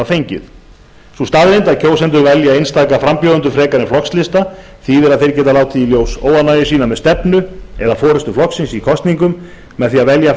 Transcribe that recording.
fengið sú staðreynd að kjósendur velja einstaka frambjóðendur frekar en flokkslista þýðir að þeir geta látið í ljós óánægju sína með stefnu eða forustu flokksins í kosningum með því að velja